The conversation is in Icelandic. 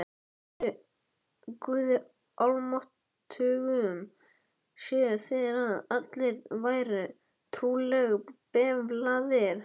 Guði almáttugum séuð þér og allir vær trúlega befalaðir.